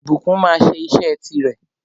Ìbùkún máa sẹ́ isẹ́ ti rè